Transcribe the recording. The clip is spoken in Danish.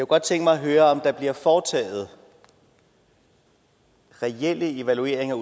godt tænke mig at høre om der bliver foretaget reelle evalueringer